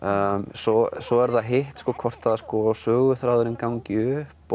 svo svo er það hitt hvort söguþráðurinn gangi upp